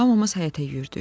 Hamımız həyətə yüyürdük.